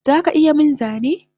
Zaka iya min Zane?